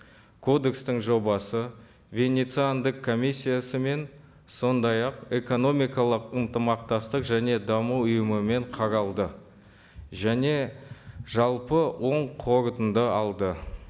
кодекстің жобасы венециандық комиссиясымен сондай ақ экономикалық ынтымақтастық және даму ұйымымен қаралды және жалпы оң қорытынды алды